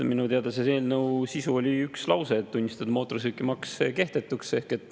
Minu teada selle eelnõu sisu oli üks lause, et tunnistada mootorsõidukimaks kehtetuks.